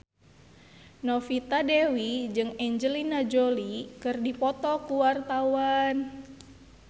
Novita Dewi jeung Angelina Jolie keur dipoto ku wartawan